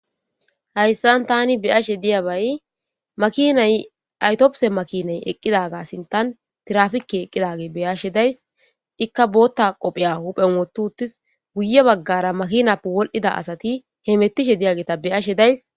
Hayissani tani beyashe dizayisi makinayi awutobise makinane tirafike beyashe dayis ikka botha qobe wothis guye baggara qassi makinape wodhida assata beyashe dayisi.